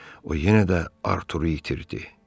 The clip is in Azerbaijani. O yenə də Arturu itirdi.